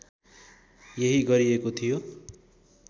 यही गरिएको थियो